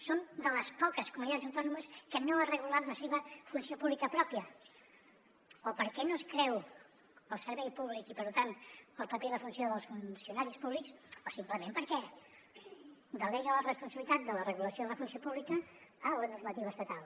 som de les poques comunitats autònomes que no ha regulat la seva funció pública pròpia o perquè no es creu el servei públic i per tant el paper i la funció dels funcionaris públics o simplement perquè delega la responsabilitat de la regulació de la funció pública a la normativa estatal